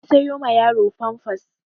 Na sayo ma yaro famfas